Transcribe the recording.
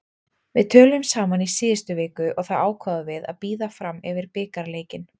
Við töluðum saman í síðustu viku og þá ákváðum við að bíða fram yfir bikarleikinn.